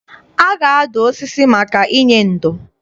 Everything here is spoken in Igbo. A ga-adụ osisi maka inye ndo.